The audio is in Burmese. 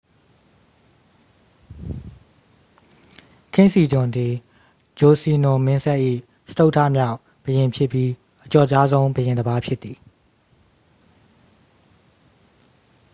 ကင်းစီဂျွန် သည် ဂျိုစီနွန် မင်းဆက်၏ စတုတ္ထမြောက် ဘုရင်ဖြစ်ပြီး အကျော်ကြားဆုံး ဘုရင်တစ်ပါး ဖြစ်သည်